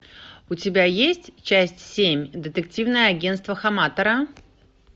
у тебя есть часть семь детективное агенство хаматора